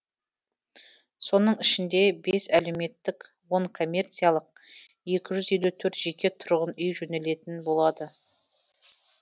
соның ішінде бес әлеуметтік он коммерциялық екі жүз елу төрт жеке тұрғын үй жөнделетін болады